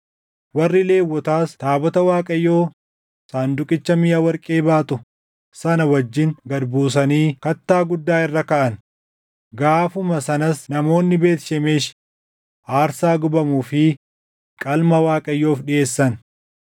Warri Lewwotaas taabota Waaqayyoo sanduuqicha miʼa warqee baatu sana wajjin gad buusanii kattaa guddaa irra kaaʼan; gaafuma sanas namoonni Beet Shemeshi aarsaa gubamuu fi qalma Waaqayyoof dhiʼeessan.